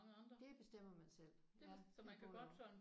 Det bestemmer man selv. Det er både og